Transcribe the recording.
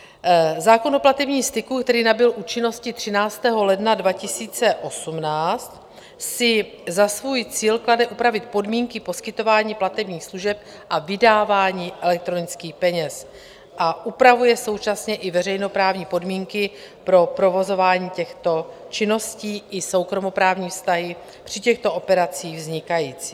Zákon o platebním styku, který nabyl účinnosti 13. ledna 2018, si za svůj cíl klade upravit podmínky poskytování platebních služeb a vydávání elektronických peněz a upravuje současně i veřejnoprávní podmínky pro provozování těchto činností i soukromoprávní vztahy při těchto operacích vznikající.